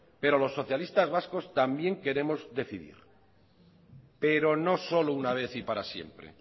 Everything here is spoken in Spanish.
pero los socialistas vascos también queremos decidir pero no solo una vez y para siempre